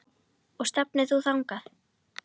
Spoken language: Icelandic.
Og stefnir þú þangað?